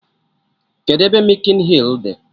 Kedụ ebe mịkin hịl dị?